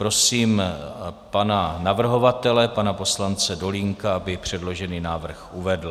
Prosím pana navrhovatele, pana poslance Dolínka, aby předložený návrh uvedl.